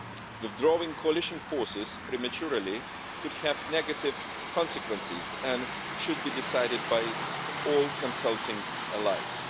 Withdrawing the coalition forces prematurely could have negative consequences and should be decided by all consulting allies.